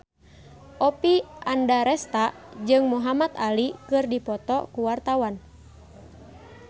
Oppie Andaresta jeung Muhamad Ali keur dipoto ku wartawan